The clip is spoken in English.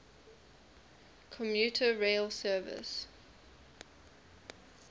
commuter rail service